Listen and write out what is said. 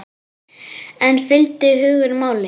En fylgdi hugur máli?